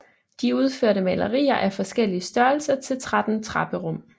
De udførte malerier af forskellige størrelser til 13 trapperum